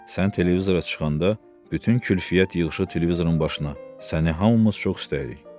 Sən televizora çıxanda bütün kütləviyyət yığışıb televizorun başına, səni hamımız çox istəyirik.